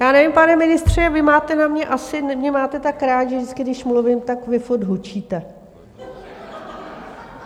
Já nevím, pane ministře, vy máte na mě, asi mě máte tak rád, že vždycky když mluvím, tak vy furt hučíte.